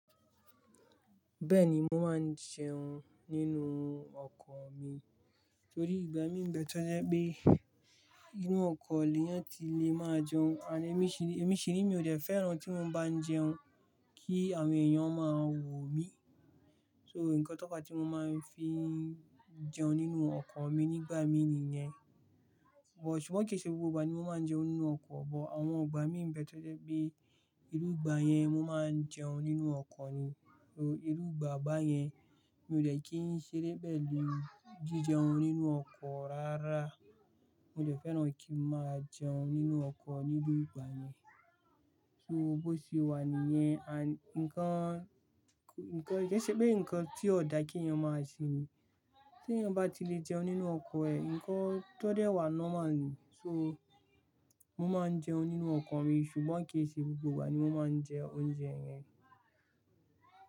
Bẹ́ẹ̀ni, mo máa ń jẹun nínú ọkọ̀ mi torí ìgbà mí ń bẹ́ẹ̀ tọ́je pé inú ọkọ̀ ni eyan ti lè máa jẹun ànd ẹ́mi ṣiní, ẹ́mi ṣiní mi ò dẹ́ fẹ́ràn tí mo bá ń jẹun kí àwọn èèyàn ó máa wò mí. So nǹkan tó fa tí mo máa ń fi jẹun nínú ọkọ̀ mi nígbà mí ni yẹn. But ṣùgbọ́n ke ṣe gbogbo ìgbà ni mo máa ń jẹun nínú ọkọ̀, but àwọn ìgbà mí ń bẹ́ẹ̀ tọ́je pé iru ìgbà yẹn mo máa ń jẹun nínú ọkọ̀ ni. So irú ìgbà bá yẹn mi ò de kí ń ṣeré pelu jí jẹun nínú ọkọ̀ rárá. Mo dẹ̀ fẹ́ràn kí n máa jẹun nínú ọkọ̀ niru ìgbà yẹn. So bó ṣe wà níyẹn, àń-- nǹkan, nǹkan ke ṣe pé nǹkan tí ó da kí èèyàn máa ṣe ni. Tí èèyàn bá ti lè jẹun nínú ọkọ̀ ẹ̀, nǹkan tó dẹ́ wà normal ni. So mo máa ń jẹun nínú ọkọ̀ mi ṣùgbọ́n kì í ṣe gbogbo ìgbà ni mo máa ń jẹ oúnjẹ yẹn.